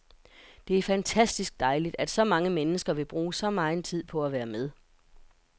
Det er fantastisk dejligt, at så mange mennesker vil bruge så megen tid på at være med.